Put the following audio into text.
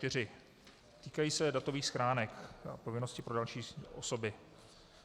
Týkají se datových schránek a povinnosti pro další osoby.